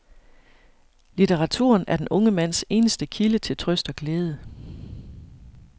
Litteraturen er den unge mands eneste kilde til trøst og glæde.